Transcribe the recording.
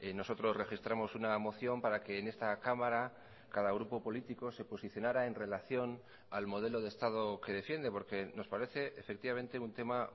nosotros registramos una moción para que en esta cámara cada grupo político se posicionara en relación al modelo de estado que defiende porque nos parece efectivamente un tema